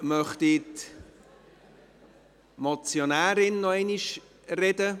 Möchte die Motionärin nochmals sprechen?